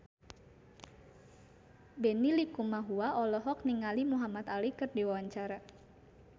Benny Likumahua olohok ningali Muhamad Ali keur diwawancara